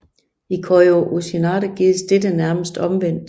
I Koryu Uchinadi gøres dette nærmest omvendt